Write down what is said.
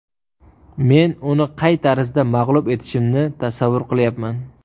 Men uni qay tarzda mag‘lub etishimni tasavvur qilyapman.